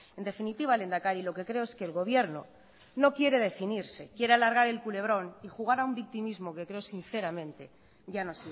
en definitiva lehendakari lo que creo es que el gobierno no quiere definirse quiere alargar el culebrón y jugar a un victimismo que creo sinceramente ya no